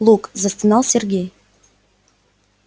лук застонал сергей